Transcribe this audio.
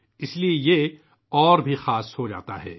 اس لئے یہ اور بھی خاص ہوجاتا ہے